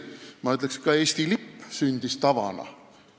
Ma ütleks, et ka Eesti lipp sündis tava tulemusel.